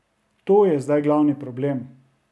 To je zdaj glavni problem.